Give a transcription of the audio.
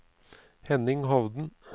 Henning Hovden